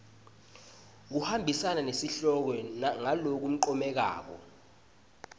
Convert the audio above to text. kuhambisana nesihloko ngalokuncomekako